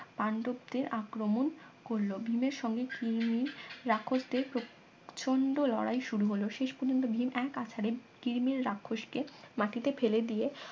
পাণ্ডবদের আক্রমণ করলো ভীমের সঙ্গে কিরমির রাক্ষসদের প্র প্রচন্ড লড়াই শুরু হলো শেষ পর্যন্ত ভীম এক আছাড়ে কিরমির রাক্ষসকে মাটিতে ফেলে দিয়ে